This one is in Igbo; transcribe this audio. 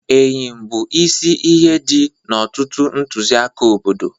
Eyịm bụ isi ihe dị n'ọtụtụ ntụziaka obodo.